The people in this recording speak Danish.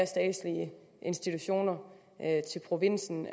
statslige institutioner til provinsen